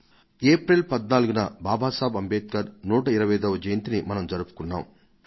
April 14న బాబాసాహెబ్ అంబేడ్కర్ 125వ జయంతిని మనం జరుపుకొన్నాం